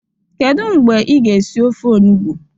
Kedu mgbe ị ga esi ofe onugbo?